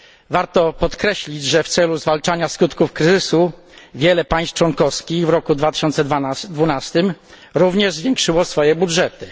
Warto podkreślić, że w celu zwalczania skutków kryzysu wiele państw członkowskich w roku 2012 również zwiększyło swoje budżety.